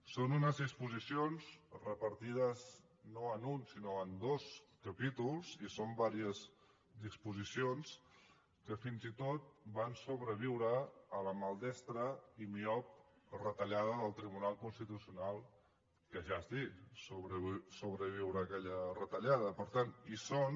són unes disposicions repartides no en un sinó en dos capítols i són diverses disposicions que fins i tot van sobreviure a la maldestra i miop retallada del tribunal constitucional que ja és dir sobreviure a aquella retallada per tant hi són